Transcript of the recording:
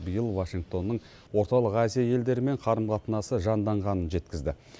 биыл вашингтонның орталық азия елдерімен қарым қатынасы жанданғанын жеткізді